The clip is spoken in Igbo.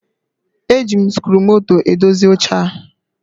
E ji m sikruumoto edozi oche a